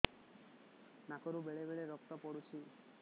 ନାକରୁ ବେଳେ ବେଳେ ରକ୍ତ ପଡୁଛି